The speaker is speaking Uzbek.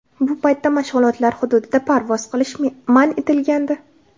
Bu paytda mashg‘ulotlar hududida parvoz qilish man etilgandi.